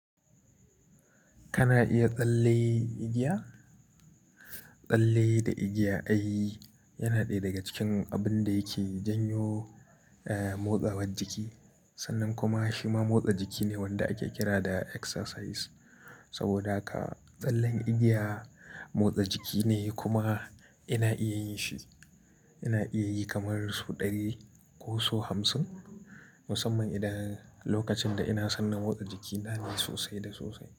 Kana iya tsalle igiya? Tsalle da igiya ai yana ɗaya daga cikin abin da yake janyo, eh, motsawar jiki. Sannan kuma shi ma motsa jiki ne wanda ake kira da exercise. Saboda haka tsallen igiya motsa jiki ne kuma ina iya yin shi. Ina iya yi kamar su ɗari ko su hamsin, musamman idan lokacin da ina san na motsa jiki na ne sosai da sosai.